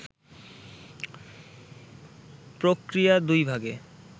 প্রক্রিয়া দুই ভাগে